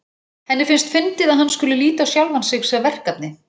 Henni finnst fyndið að hann skuli líta á sjálfan sig sem verkefni.